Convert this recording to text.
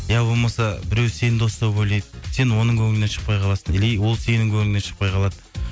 иә болмаса біреу сені дос деп ойлайды сен оның көңілінен шықпай қаласың или ол сенің көңіліңнен шықпай қалады